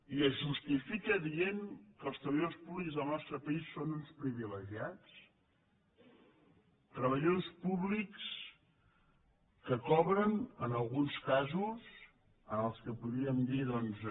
i es justifica dient que els treballadors públics del nostre país són uns privilegiats treballadors públics que cobren en alguns casos els que en podríem dir doncs